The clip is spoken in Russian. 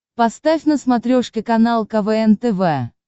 поставь на смотрешке канал квн тв